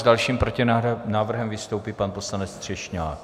S dalším protinávrhem vystoupí pan poslanec Třešňák.